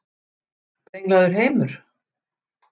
Brenglaður heimur?